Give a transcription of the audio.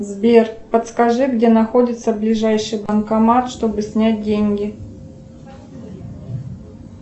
сбер подскажи где находится ближайший банкомат чтобы снять деньги